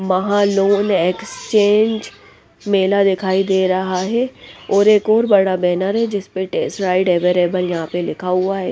महा loan exchange मेला दिखाई दे रहा हैं और एक और बड़ा बैनर हैं जिस पर टेस्ट राइड अवेलेबल यहाँ पे लिखा हुआ हैं ।